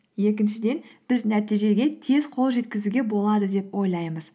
екіншіден біз нәтижеге тез қол жеткізуге болады деп ойлаймыз